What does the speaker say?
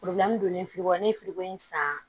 donnen ne ye in san